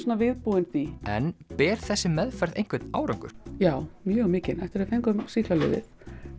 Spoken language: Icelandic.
viðbúin því en ber þessi meðferð einhvern árangur já mjög mikinn eftir að við fengum sýklalyfið